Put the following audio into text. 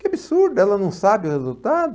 Que absurdo, ela não sabe o resultado.